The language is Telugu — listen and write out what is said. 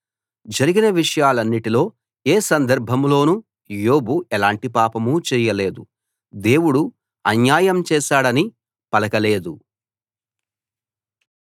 జరిగిన విషయాలన్నిటిలో ఏ సందర్భంలోనూ యోబు ఎలాంటి పాపం చేయలేదు దేవుడు అన్యాయం చేశాడని పలకలేదు